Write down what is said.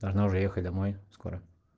должна уже ехать домой скоро